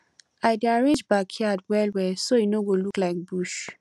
i dey arrange backyard well well so e no go look like bush